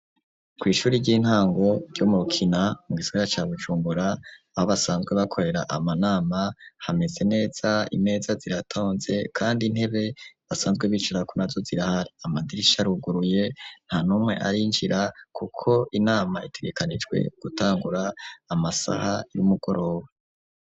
Kw’ishure ry'intango ryo mu rukina mu gisagara ca Bujumbura aho basanzwe bakorera amanama hameze neza imeza ziratonze kandi intebe basanzwe bicara ko nazo zirahari, amadirisha aruguruye ntanumwe arinjira kuko inama itegekanijwe gutangura amasaha y'umugoroba.